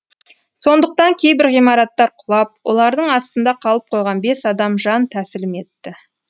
сондықтан кейбір ғимараттар құлап олардың астында қалып қойған бес адам жан тәсілім етті